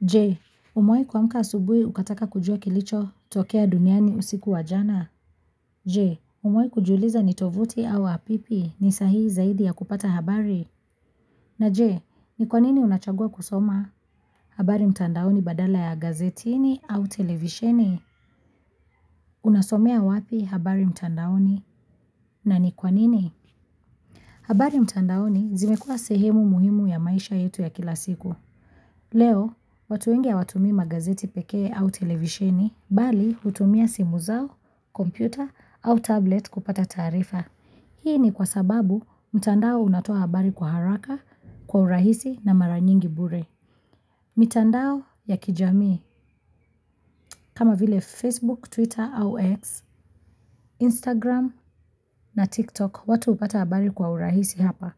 Je, umekuwa amka asubui ukataka kujua kilicho tokea duniani usiku wa jana? Je, umuwai kujiuliza nitovuti au apipi ni sahihi zaidi ya kupata habari? Na je, ni kwa nini unachagua kusoma? Habari mtandaoni badala ya gazetini au televisheni? Unasomea wapi habari mtandaoni? Na ni kwa nini? Habari mtandaoni zimekua sehemu muhimu ya maisha yetu ya kila siku. Leo, watu wengi hawatumii magazeti pekee au televisheni? Bali utumia simu zao, kompyuta au tablet kupata taarifa. Hii ni kwa sababu mtandao unatoa habari kwa haraka kwa urahisi na mara nyingi bure. Mitandao ya kijamii kama vile Facebook, Twitter au X, Instagram na TikTok watu upata habari kwa urahisi hapa.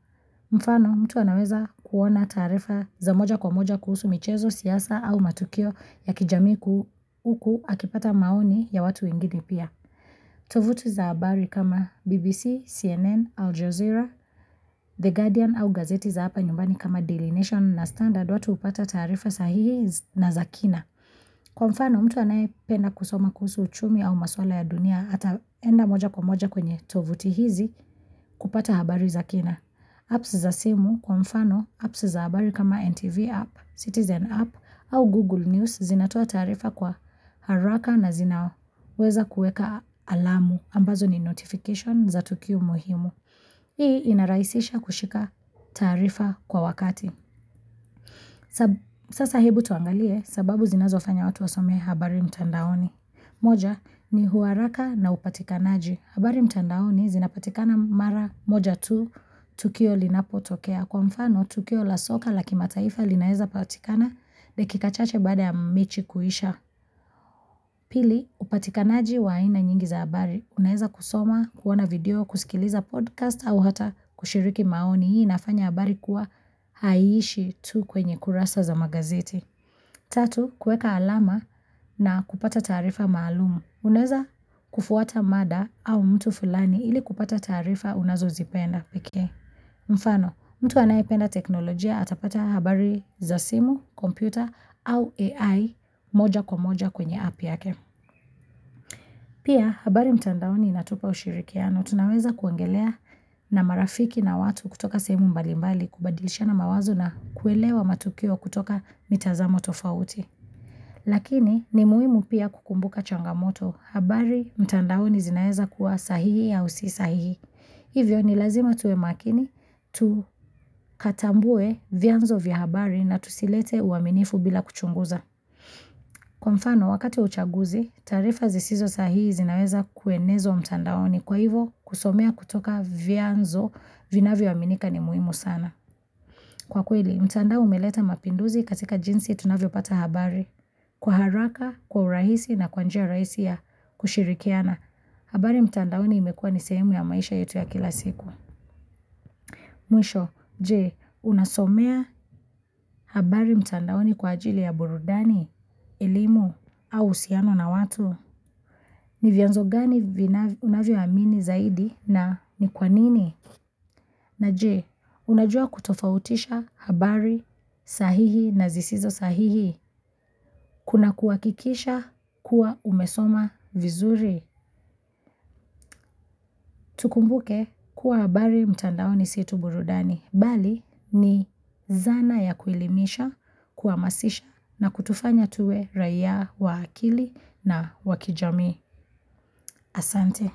Mfano mtu anaweza kuona taarifa za moja kwa moja kuhusu michezo siyasa au matukio ya kijamii kuuku akipata maoni ya watu ingini pia. Tovuti za habari kama BBC, CNN, Al Jazeera, The Guardian au gazeti za hapa nyumbani kama Delineation na Standard watu upata taarifa sahihi na za kina. Kwa mfano mtu anaye penda kusoma kuhuusu uchumi au maswala ya dunia ata enda moja kwa moja kwenye tovuti hizi kupata habari za kina. Apps za simu kwa mfano, apps za habari kama NTV app, citizen app au Google News zinatua taarifa kwa haraka na zinao. Weza kueka alamu, ambazo ni notification za tukio muhimu. Hii inarahisisha kushika taarifa kwa wakati. Sasa hebu tuangalie sababu zinazo fanya watu wasome habari mtandaoni. Moja ni uharaka na upatika naaji. Habari mtandaoni zinapatikana mara moja tu, tukio linapo tokea. Kwa mfano, tukio la soka la kimataifa linaeza patikana leki kachache bada ya mechi kuisha. Pili, upatikanaji wa aina nyingi za habari. Unaeza kusoma, kuona video, kusikiliza podcast au hata kushiriki maoni. Hii inafanya habari kuwa haishi tu kwenye kurasa za magazeti. Tatu, kueka alama na kupata taarifa maalumu. Unaeza kufuata mada au mtu fulani ili kupata taarifa unazo zipenda piki. Mfano, mtu anayependa teknolojia atapata habari za simu, kompyuta au AI moja kwa moja kwenye app yake. Pia, habari mtandaoni inatupa ushirikiano. Tunaweza kuongelea na marafiki na watu kutoka sehemu mbalimbali, kubadilisha na mawazo na kuelewa matukio kutoka mitazamo tofauti. Lakini ni muhimu pia kukumbuka changamoto, habari mtandaoni zinaeza kuwa sahihi au si sahihi. Hivyo ni lazima tuwe makini, tukatambue vianzo vihabari na tusilete uaminifu bila kuchunguza. Kwa mfano, wakati wa uchaguzi, taarifa zisizo sahihi zinaeza kuenezo mtandaoni kwa hivyo kusomea kutoka vianzo vinavyoaminika ni muhimu sana. Kwa kweli, mtandao umeleta mapinduzi katika jinsi tunavyo pata habari kwa haraka, kwa urahisi na kwa njia raisi ya kushirikiana. Habari mtandaoni imekua ni sehemu ya maisha yetu ya kila siku. Mwisho, jee, unasomea habari mtandaoni kwa ajili ya burudani, elimu, au uhusiano na watu. Ni vyanzo gani unavyoamini zaidi na ni kwa nini? Na jee, unajua kutofautisha habari sahihi na zisizo sahihi. Kuna kuhakikisha kuwa umesoma vizuri. Tukumbuke kuwa habari mtandaoni si tu burudani. Bali ni zana ya kuelimisha, kuamasisha na kutufanya tuwe raia wa akili na wa kijami asante.